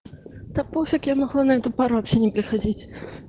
да пофиг я могла на эту пару вабще не приходить